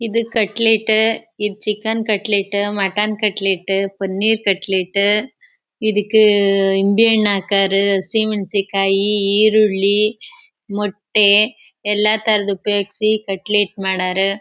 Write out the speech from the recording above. ಇದು ಕಟ್ಲೇಟ್ ಇದ್ chicken cutlet mutton cutlet paneer cutlet ಇದಕ್ ನಿಂಬೆ ಹಣ್ಣ್ ಹಾಕ್ಯಾರ್ ಹಸಿಮೆಣಸಿನ ಕಾಯಿ ಈರುಳ್ಳಿ ಮೊಟ್ಟೆ ಎಲ್ಲ ತರಹದ್ ಉಪಯೋಗ್ಸಿ ಕಟ್ಲೇಟ್ ಮಾಡ್ಯಾರ.